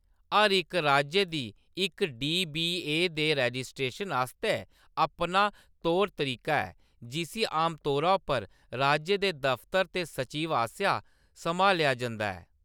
हर इक राज्य दी इक डी.बी.ए. दे रजिस्ट्रेशन आस्तै अपना तौर-तरीका ऐ, जिसी आमतौरा पर राज्य दे दफ्तर दे सचिव आसेआ सम्हालेआ जंदा ऐ।